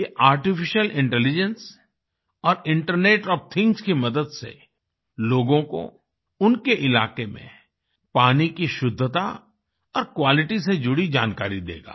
ये artificial intelligence और internet of things की मदद से लोगों को उनके इलाके में पानी की शुद्धता और क्वालिटी से जुड़ी जानकारी देगा